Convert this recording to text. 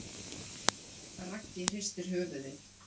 Raggi hristir höfuðið.